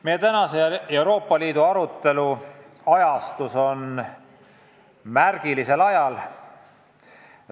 Meie tänane Euroopa Liidu poliitika arutelu on märgiliselt ajastatud.